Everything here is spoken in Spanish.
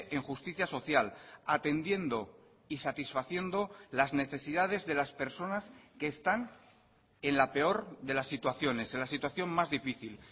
en justicia social atendiendo y satisfaciendo las necesidades de las personas que están en la peor de las situaciones en la situación más difícil